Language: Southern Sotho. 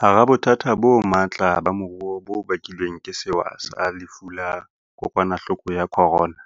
Hara bothata bo matla ba moruo bo bakilweng ke sewa sa Lefu la Kokwanahloko ya Corona,